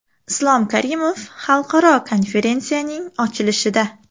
Islom Karimov xalqaro konferensiyaning ochilishida.